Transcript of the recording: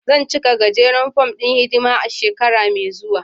Zan cika gajeren fom ɗin hidima a shekara mai zuwa.